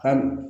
Hali